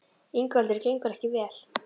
Ingveldur: Gengur ekki vel?